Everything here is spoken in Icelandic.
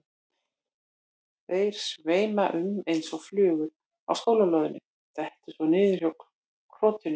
Þeir sveima um eins og flugur á skólalóðinni, detta svo niður hjá krotinu.